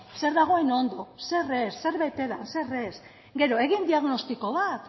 zer dagoen ondo zer ez zer bete dan zer ez gero egin diagnostiko bat